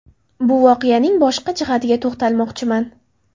Bu voqeaning boshqa jihatiga to‘xtalmoqchiman.